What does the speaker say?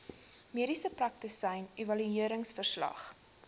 mediese praktisyn evalueringsverslag